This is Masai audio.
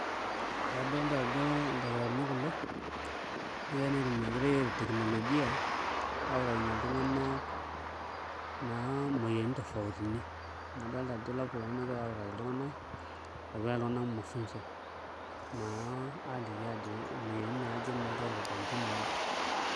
Ee adolta ajo ildakitarini kulo negirai naa aitumia enkoitoi e teknolojia autakinyie iltung'anak naa imoyiaritin tofautini amu adolta ajo laptop ena nagirai autaki iltung'anak epikitai iltung'anak mafunzo naa aaliki ajo imoyiaritin naaje naa egirai aitodolu tinewueji.